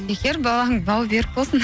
бекер балаңның бауы берік болсын